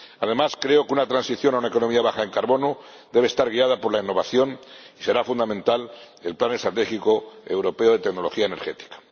Además, creo que una transición a una economía baja en carbono debe estar guiada por la innovación y será fundamental el Plan Estratégico Europeo de Tecnología Energética.